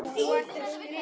Sandra hafði hægt um sig.